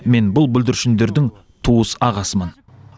мен бұл бүлдіршіндердің туыс ағасымын